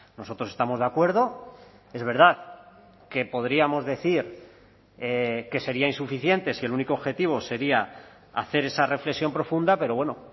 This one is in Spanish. nosotros estamos de acuerdo es verdad que podríamos decir que sería insuficiente si el único objetivo sería hacer esa reflexión profunda pero bueno